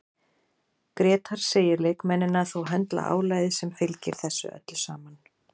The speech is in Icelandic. Grétar segir leikmennina þó höndla álagið sem fylgir þessu öllu saman.